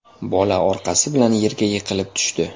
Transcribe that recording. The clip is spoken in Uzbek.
Bola orqasi bilan yerga yiqilib tushdi.